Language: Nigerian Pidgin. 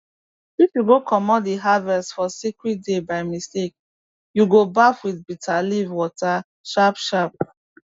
if you go comot the harvest for sacred day by mistake you go baff with bitter leaf water sharpsharp